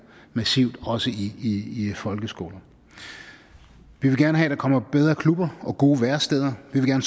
massivt også i i folkeskolen vi vil gerne have der kommer bedre klubber og gode væresteder vi vil